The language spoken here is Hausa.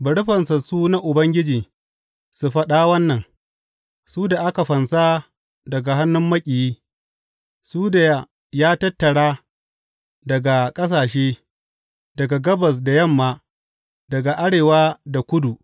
Bari fansassu na Ubangiji su faɗa wannan, su da aka fansa daga hannun maƙiyi, su da ya tattara daga ƙasashe, daga gabas da yamma, daga arewa da kudu.